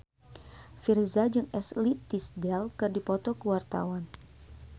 Virzha jeung Ashley Tisdale keur dipoto ku wartawan